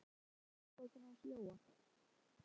Lalli náði í einkunnabókina hans Jóa.